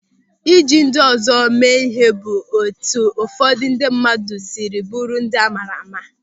Ịji ndị ọzọ eme ịhe bụ etu ụfọdụ ndị mmadụ sịrị bụrụ ndị a maara ama.